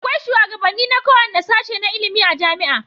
Akwai shugabanni na kowanne sashe na ilimin a jamia